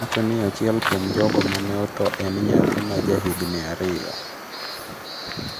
Owacho ni achiel kuom jogo ma ne otho en nyathi ma ja higni ariyo.